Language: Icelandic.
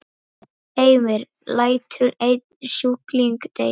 Heimir: Lætur einn sjúkling deyja?